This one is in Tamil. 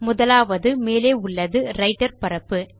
முதலாவது மேலே உள்ளது ரைட்டர் பரப்பு